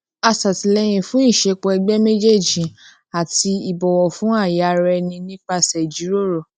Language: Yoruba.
a ṣàtìlẹyìn fún ìṣepọ ẹgbẹ méjèèjì àti ìbọwọ fún ààyè ara ẹni nípasẹ ìjíròrò